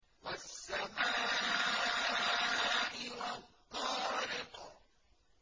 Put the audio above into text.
وَالسَّمَاءِ وَالطَّارِقِ